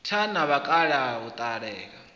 tha na vhakalaha u ṱalela